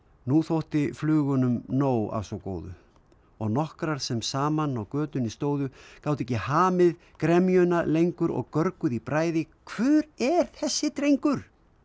nú þótti flugunum nóg af svo góðu og nokkrar sem saman á götunni stóðu gátu ekki hamið gremjuna lengur og görguðu í bræði hver er þessi drengur